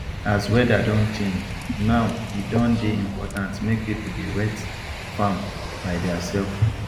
as weather don change now e don dey important make people dey wet farm by their self